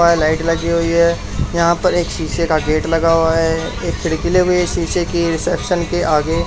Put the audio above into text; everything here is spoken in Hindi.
लाइट लगी हुई है यहां पर एक शीशे का गेट लगा हुआ है एक खिड़की लगी हुई है शीशे की रिसेप्शन के आगे --